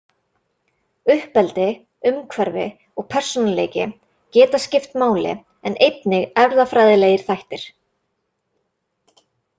Uppeldi, umhverfi og persónuleiki geta skipt máli en einnig erfðafræðilegir þættir.